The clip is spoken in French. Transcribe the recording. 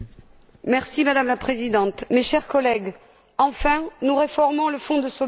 Madame la Présidente, chers collègues, enfin nous réformons le Fonds de solidarité.